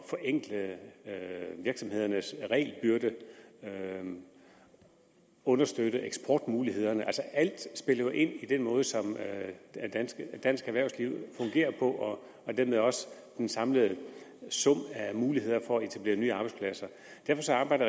forenkle virksomhedernes regelbyrde og understøtte eksportmulighederne altså alt spiller jo ind på den måde som dansk erhvervsliv fungerer på og dermed også den samlede sum af muligheder for at etablere nye arbejdspladser derfor arbejder